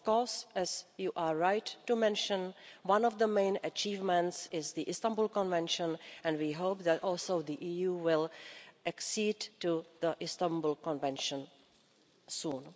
Of course, as you are right to mention, one of the main achievements is the Istanbul Convention and we hope that the EU too will accede to the Istanbul Convention soon.